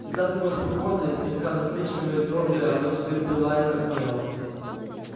всегда такое спокойное слегка насмешливое и твёрдое оно теперь пылает гневом